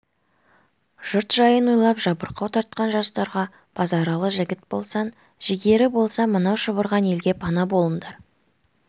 жұрт жайын ойлап жабырқау тартқан жастарға базаралы жігіт болсаң жігерің болса мынау шұбырған елге пана болыңдар